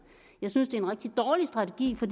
jeg synes det er en rigtig dårlig strategi for